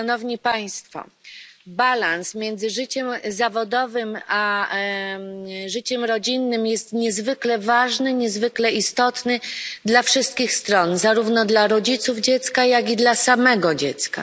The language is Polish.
Równowaga między życiem zawodowym a życiem rodzinnym jest niezwykle ważna, niezwykle istotna dla wszystkich stron zarówno dla rodziców dziecka, jak i dla samego dziecka.